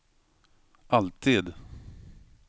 alltid